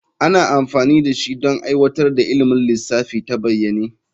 Ana amfani da shi don aiwatar da ilimin lissafi ta bayyane.